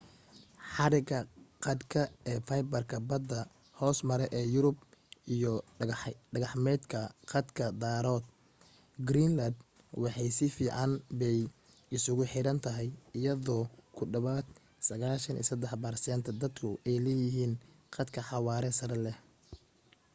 xadhiga khadka ee faybarka badda hoos mara ee yurub iyo dayaxgacmeedka khadka daraadood greenland waxay si fiican bay isugu xiran tahay iyadoo ku dhawaad 93% dadku ay leeyihiin khad xawaare sare leh